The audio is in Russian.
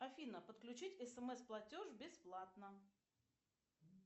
афина подключить смс платеж бесплатно